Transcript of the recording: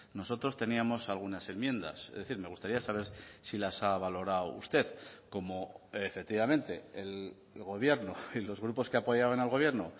nosotros teníamos algunas enmiendas es decir me gustaría saber si las ha valorado usted como efectivamente el gobierno y los grupos que apoyaban al gobierno